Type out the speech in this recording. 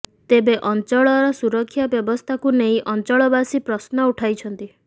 ତେବେ ଅଂଚଳର ସୁରକ୍ଷା ବ୍ୟବସ୍ଥାକୁ ନେଇ ଅଞ୍ଚଳବାସୀ ପ୍ରଶ୍ନ ଉଠାଇଛନ୍ତି